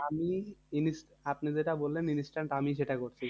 আমি আপনি যেটা বললেন instant আমি সেটা করছি।